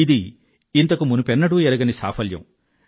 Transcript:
ఇది ఇంతకుమునుపెన్నడూ ఎరగని సాఫల్యం